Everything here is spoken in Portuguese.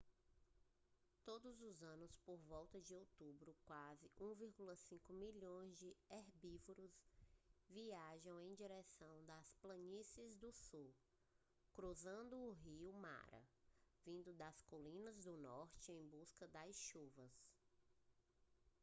todo os anos por volta de outubro quase 1,5 milhão de herbívoros viajam em direção às planícies do sul cruzando o rio mara vindo das colinas do norte em busca das chuvas